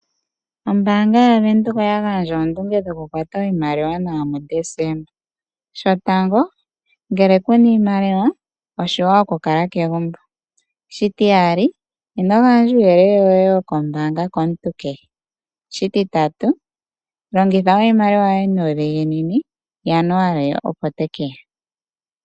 Ombaanga yaVenduka oya gandja oondunge dhokukwata kwata iimaliwa nawa mu Deseemba. 1.Ngele kuna iimaliwa oshiwanawa okukala kegumbo. 2. Ino gandja uuyelele woye wombaanga komuntu kehe . 3. Longitha iimaliwa yoye nuudhiginini oshoka Januali opo tekeya.